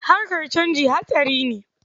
Harakar canji hatsari ne.